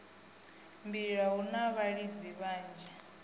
mbila hu na vhalidzi vhanzhi